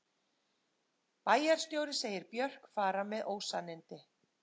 Bæjarstjóri segir Björk fara með ósannindi